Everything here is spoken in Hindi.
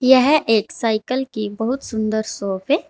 यह एक साइकल की बहुत सुंदर शाॅप है।